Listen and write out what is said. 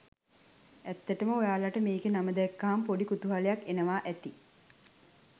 ඇත්තටම ඔයාලට මේකේ නම දැක්කම පොඩි කුතුහලයක් එනවා ඇති